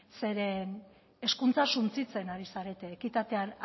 zeren hezkuntza suntsitzen ari zarete ekitatean